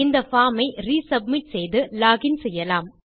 இந்த பார்ம் ஐ ரிசப்மிட் செய்து லோகின் செய்யலாம்